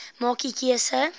maak u keuse